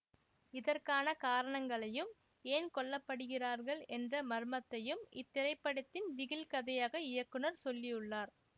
இதற்கான காரணங்களையும் ஏன் கொல்லப்படுகிறார்கள் என்ற மர்மத்தையும் இத்திரைப்படத்தில் திகில் கதையாக இயக்குநர் சொல்லியுள்ளார்